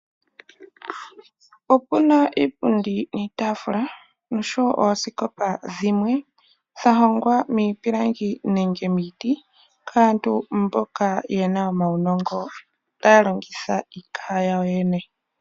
Opuna iipundi niitafula osho wo oosikopa dhimwe dhahongwa miipilangi nenge miiti kaantu mboka yena omaunongo taya longitha iikaha yawo yene.